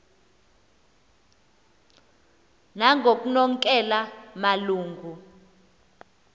nangoknonkela malu ngu